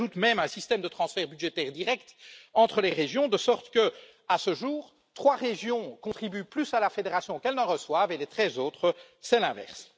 S'y ajoute même un système de transferts budgétaires directs entre les régions, de sorte que, à ce jour, trois régions contribuent plus à la fédération qu'elles ne reçoivent, et les treize autres c'est l'inverse.